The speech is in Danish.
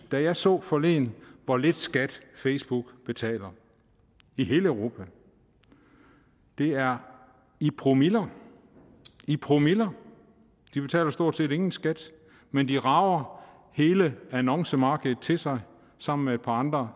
jeg så forleden hvor lidt skat facebook betaler i hele europa det er i promiller i promiller de betaler stort set ingen skat men de rager hele annoncemarkedet til sig sammen med et par andre